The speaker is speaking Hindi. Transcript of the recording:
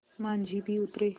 माँझी भी उतरे